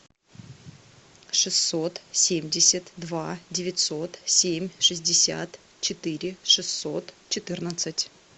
шестьсот семьдесят два девятьсот семь шестьдесят четыре шестьсот четырнадцать